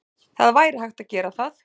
Það væri hægt að gera það.